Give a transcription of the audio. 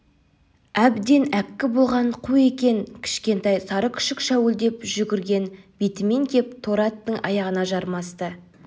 әбден әккі болған қу екен кішкентай сары күшік шәуілдеп жүгірген бетімен кеп торы аттың аяғына жармасты